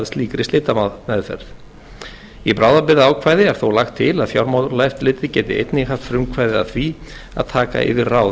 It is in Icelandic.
slíkri slitameðferð í bráðabirgðaákvæði er þó lagt til að fjármálaeftirlitið geti einnig haft frumkvæði að því að taka yfir ráð